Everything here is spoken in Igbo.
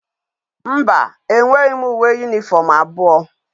Mba, enweghi m uwe uniform abuo